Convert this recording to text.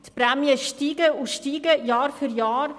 Die Prämien steigen und steigen Jahr für Jahr.